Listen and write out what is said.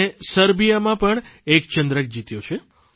તેણે સર્બિયામાં પણ એક ચંદ્રક જીત્યો છે